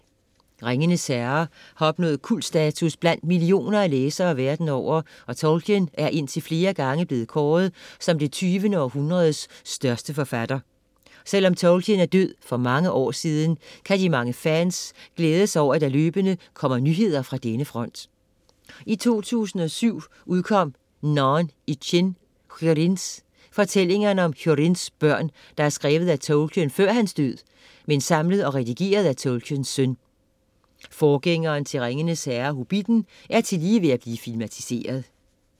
Ringenes Herre har opnået kultstatus blandt millioner af læsere verden over og Tolkien er indtil flere gange blevet kåret som det tyvende århundredes største forfatter. Selvom Tolkien er død for mange år siden, kan de mange fans glæde sig over at der løbende kommer nyheder fra denne front. I 2007 udkom Narn i chîn Húrins, fortællingerne om Húrins børn, der er skrevet af Tolkien før hans død, men samlet og redigeret af Tolkiens søn. Forgængeren til Ringenes Herre, Hobitten, er tillige ved at blive filmatiseret.